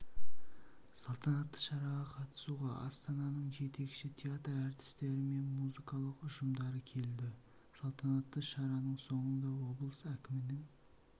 салтанатты шараға қатысуға астананың жетекші театр әртістері мен музыкалық ұжымдары келді салтанатты шараның соңында облыс әкімінің